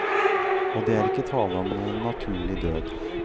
Og det er ikke tale om noen naturlig død.